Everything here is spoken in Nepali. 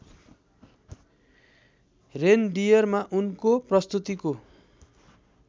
रेनडियरमा उनको प्रस्तुतिको